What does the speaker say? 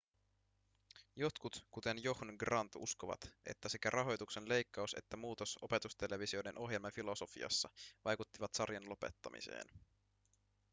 jotkut kuten john grant uskovat että sekä rahoituksen leikkaus että muutos opetustelevisioiden ohjelmafilosofiassa vaikuttivat sarjan lopettamiseen